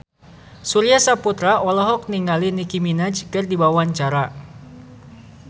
Surya Saputra olohok ningali Nicky Minaj keur diwawancara